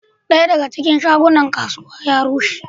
Daya a cikin shagunan kasuwa ya rushe.